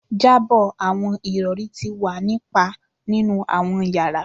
Jabọ awọn irọri ti wa ni pa ninu awọn yara